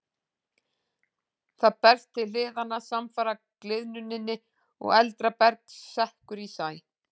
Það berst til hliðanna samfara gliðnuninni og eldra berg sekkur í sæ.